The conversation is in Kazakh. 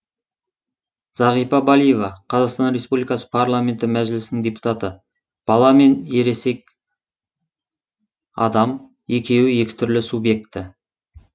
зағипа балиева қр парламенті мәжілісінің депутаты бала мен ересек адам екеуі екі түрлі субъект